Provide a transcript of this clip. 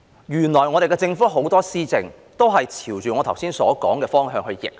原來我們的政府很多施政都是朝着我剛才所說的方向逆行。